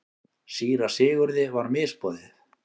Síra Sigurði var misboðið.